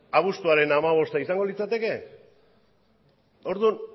abuztuaren hamabosta izango litzateke orduan